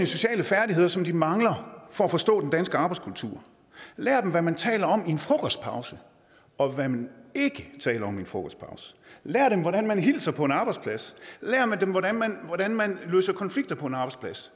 sociale færdigheder som de mangler for at forstå den danske arbejdskultur lær dem hvad man taler om i en frokostpause og hvad man ikke taler om i en frokostpause lær dem hvordan man hilser på en arbejdsplads lær dem hvordan man hvordan man løser konflikter på en arbejdsplads